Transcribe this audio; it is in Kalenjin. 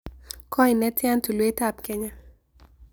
Goi netian tulwetab Kenya